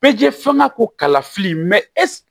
Bɛɛ jɛ fɛn ka ko kalafili